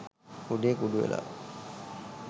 කුඩේ කුඩු වෙලා.